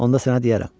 Onda sənə deyərəm.